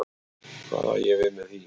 Hvað á ég við með því?